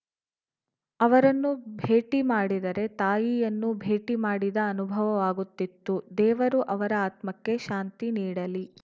ಅವರನ್ನು ಭೇಟಿ ಮಾಡಿದರೆ ತಾಯಿಯನ್ನು ಭೇಟಿ ಮಾಡಿದ ಅನುಭವವಾಗುತ್ತಿತ್ತು ದೇವರು ಅವರ ಆತ್ಮಕ್ಕೆ ಶಾಂತಿ ನೀಡಲಿ